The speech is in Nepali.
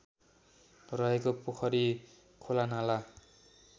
रहेको पोखरी खोलानाला